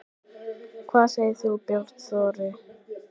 Hvað segir þú, Björn Þorri?